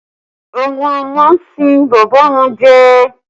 Àwọn ọmọ ń sín bàbá wọn jẹ